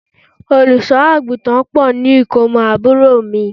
Olùṣọ́-àgùntàn pò ní ikomo àbúrò mi.